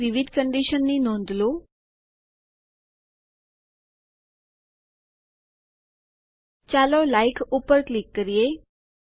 અહીં વિવિધ કંડીશન ની નોંધ લો ચાલો લાઇક ઉપર ક્લિક કરીએ